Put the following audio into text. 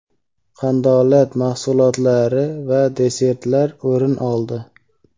qandolat mahsulotlari va desertlar o‘rin oldi.